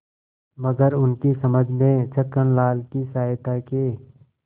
मगर उनकी समझ में छक्कनलाल की सहायता के